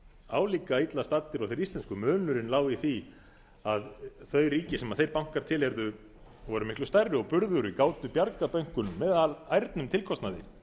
álíka illa staddir og þeir íslensku munurinn lá í því að þau ríki sem þeir bankar tiheyrðu voru miklu stærri og burðugri gátu bjargað bönkunum með ærnum tilkostnaði